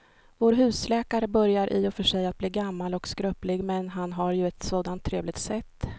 Vår husläkare börjar i och för sig bli gammal och skröplig, men han har ju ett sådant trevligt sätt!